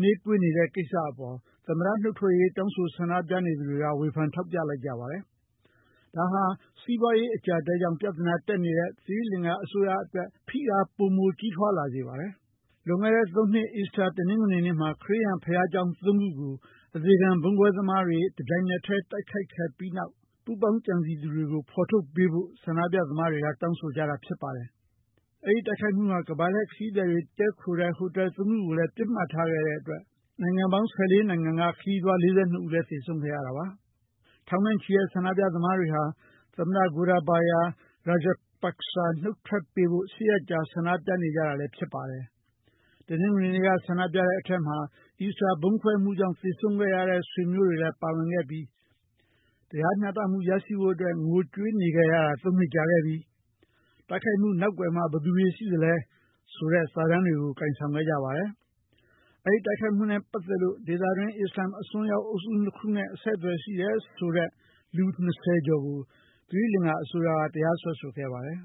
နှေးကွေးနေခဲ့တဲ့ ကိစ္စအပေါ် သမ္မတနုတ်ထွက်ရေး တောင်းဆို ဆန္ဒပြနေသူတွေက ဝေဖန် ထောက်ပြလိုက်ကြပါတယ်။ ဒါဟာ စီးပွားရေး အကျပ်အတည်းကြောင့် ပြဿနာတက်နေတဲ့ သီရိလင်္ကာ အစိုးရအတွက် ဖိအား ပိုမိုကြီးထွားလာစေပါတယ်။ လွန်ခဲ့တဲ့ ၃ နှစ် အီစတာ တနင်္ဂွေနနေ့မှာ ခရစ်ယာန်ဘုရားကျောင်း ၃ ခုကို အသေခံ ဗုံးခွဲသမားတွေက တပြိုင်နက်တည်း တိုက်ခိုက်မှု နောက်ကွယ်က ပူးပေါင်းကြံစည်သူတွေကို ဖော်ထုတ်ပေးဖို့ ဆန္ဒပြသမားတွေ တောင်းဆိုကြတာ ဖြစ်ပါတယ်။ အဲဒီတိုက်ခိုက်မှုဟာ ကမ္ဘာလှည့်ခရီးသည်တွေ တည်းခိုတဲ့ ဟိုတယ် ၃ ခုကိုလည်း ပစ်မှတ်ထားခဲ့ပြီး နိုင်ငံ ၁၄ နိုင်ငံက ခရီးသည် ၄၂ ဦးလည်း သေဆုံးခဲ့ရတာပါ။ ထောင်နဲ့ချီတဲ့ ဆန္ဒပြသမားတွေဟာ သမ္မတ Gotabaya Rajapaksa နုတ်ထွက်ပေးဖို့ ၈ ရက်ကြာ ဆန္ဒပြနေခဲ့ကြတာလည်း ဖြစ်ပါတယ်။ တနင်္ဂနွေနေ့က ဆန္ဒပြတဲ့အထဲမှာ အီစတာ ဗုံးခွဲမှုကြောင့် သေဆုံးခဲ့ရတဲ့ ဆွေမျိုးတွေလည်း ပါဝင်ခဲ့ပြီး "တရားမျှတမှု ရရှိဖို့အတွက် ငိုကြွေးနေခဲ့ရတာ ၃ နှစ်ကြာခဲ့ပြီ"၊ "တိုက်ခိုက်မှုနောက်ကွယ်မှာ ဘယ်သူတွေရှိသလဲ" ဆိုတဲ့ စာတမ်းတွေကို ကိုင်ဆောင်ခဲ့ကြပါတယ်။ ဒီတိုက်ခိုက်မှုနဲ့ပတ်သက်လို့ ဒေသတွင်း အစ္စလာမ်အစွန်းရောက် အုပ်စုနှစ်ခုနဲ့ အဆက်အသွယ် ရှိခဲ့တယ်ဆိုတဲ့ လူ ၂၀ ကျော်ကို သီရိလင်္ကာအစိုးရက တရားစွဲဆိုခဲ့ပါတယ်။